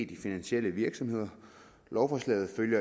joachim b olsen